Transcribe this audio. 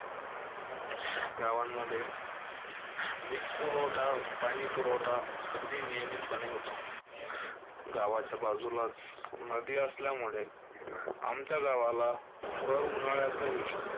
गावांमध्ये वीजपुरवठा, पाणीपुरवठा अगदी नियमितपणे होतो. गावाच्या बाजूलाच नदी असल्यामुळे आमच्या गावाला भर उन्हाळ्यातही